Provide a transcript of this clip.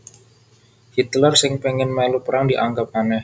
Hitler sing péngin mèlu perang dianggep anèh